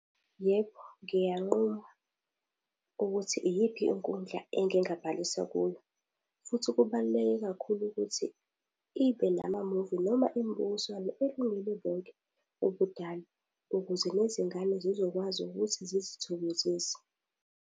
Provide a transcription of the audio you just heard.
Yebo ngiyanquma, ukuthi iyiphi inkundla engingabhalisa kuyo. Futhi kubaluleke kakhulu ukuthi ibe namamuvi noma imibukiswano elungele bonke ubudala, ukuze nezingane zizokwazi ukuthi zizithokozise.